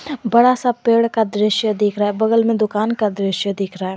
बड़ा सा पेड़ का दृश्य दिख रहा है बगल में दुकान का दृश्य दिख रहा है।